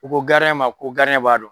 U ko ma ko b'a dɔn.